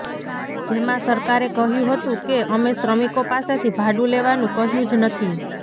જેમાં સરકારે કહ્યું હતું કે અમે શ્રમિકો પાસેથી ભાડું લેવાનું કહ્યું જ નથી